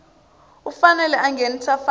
u fanele a nghenisa mfanelo